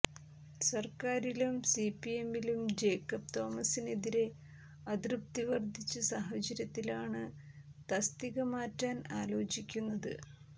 സർക്കാരിലും സിപിഎമ്മിലും ജേക്കബ് തോമസിനെതിരെ അതൃപ്തി വർദ്ധിച്ച സാഹചര്യത്തിലാണ് തസ്തിക മാറ്റാൻ ആലോചിക്കുന്നത്